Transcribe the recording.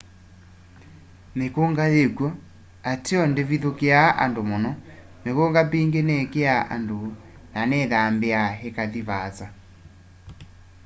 mîkûnga yîkw'o ateo ndîvithûkîaa andu mûno. mikunga mingî nîkîaa andu na nîthambîaa îkathi vaasa